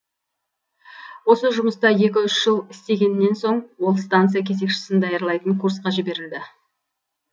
осы жұмыста екі үш жыл істегеннен соң ол станция кезекшісін даярлайтын курсқа жіберілді